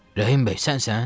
Rəhim bəy, sənsən?